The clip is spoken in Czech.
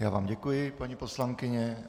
Já vám děkuji, paní poslankyně.